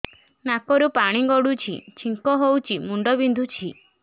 ନାକରୁ ପାଣି ଗଡୁଛି ଛିଙ୍କ ହଉଚି ମୁଣ୍ଡ ବିନ୍ଧୁଛି